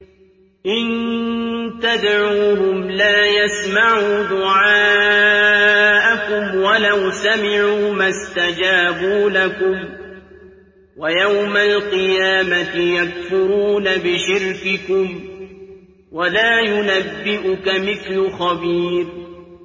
إِن تَدْعُوهُمْ لَا يَسْمَعُوا دُعَاءَكُمْ وَلَوْ سَمِعُوا مَا اسْتَجَابُوا لَكُمْ ۖ وَيَوْمَ الْقِيَامَةِ يَكْفُرُونَ بِشِرْكِكُمْ ۚ وَلَا يُنَبِّئُكَ مِثْلُ خَبِيرٍ